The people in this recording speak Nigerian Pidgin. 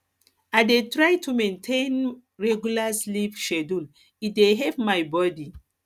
i dey try to maintain regular sleep schedule e dey help my body